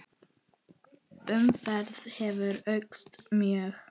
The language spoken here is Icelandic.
Umferð hefur aukist mjög.